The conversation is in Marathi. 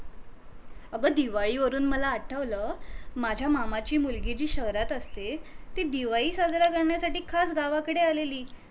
अग दिवाळी वरून मला आठवल माझ्या मामा ची मुलगी जी शहरात असते ती दिवाळी साजरी करण्यासाठी खास गावाकडे आलेली